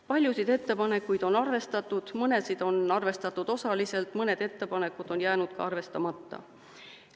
Paljusid ettepanekuid on arvestatud, mõnesid on arvestatud osaliselt, mõned ettepanekud on jäänud arvestamata.